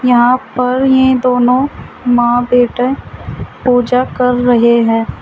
यहां पर ये दोनों मां बेटे पूजा कर रहे हैं।